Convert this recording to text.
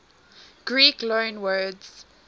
greek loanwords